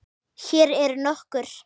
Hér eru nokkur